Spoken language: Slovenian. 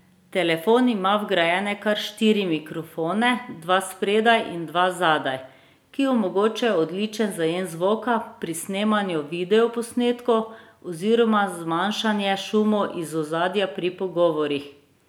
Telefon ima vgrajene kar štiri mikrofone, dva spredaj in dva zadaj, ki omogočajo odličen zajem zvoka pri snemanju videoposnetkov oziroma zmanjšanje šumov iz ozadja pri pogovorih.